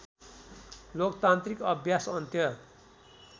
लोकतान्त्रिक अभ्यास अन्त्य